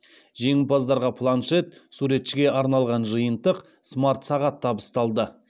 жеңімпаздарға планшет суретшіге арналған жиынтық смарт сағат табысталды